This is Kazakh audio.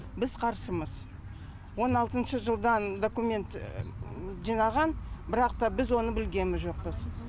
біз қарсымыз он алтыншы жылдан документ жинаған бірақ та біз оны білгеміз жоқпыз